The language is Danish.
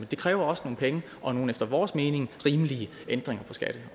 det kræver også nogle penge og nogle efter vores mening rimelige ændringer